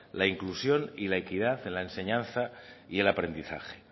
la inclusión y la equidad en la enseñanza y el aprendizaje